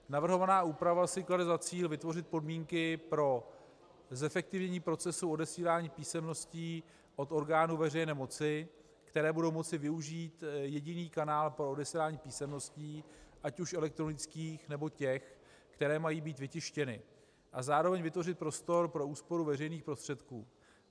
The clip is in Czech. Navrhovaná úprava si klade za cíl vytvořit podmínky pro zefektivnění procesů odesílání písemností od orgánů veřejné moci, které budou moci využít jediný kanál pro odesílání písemností, ať už elektronických, nebo těch, které mají být vytištěny, a zároveň vytvořit prostor pro úsporu veřejných prostředků.